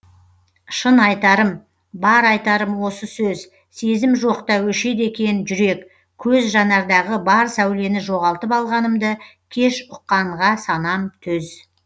шын айтарым бар айтарым осы сөз сезім жоқ та өшеді екен жүрек көз жанардағы бар сәулені жоғалтып алғанымды кеш ұққанға санам төз